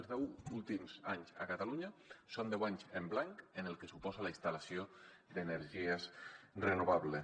els deu últims anys a catalunya són deu anys en blanc en el que suposa la instal·lació d’energies renovables